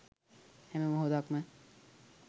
හැම මොහොතක්ම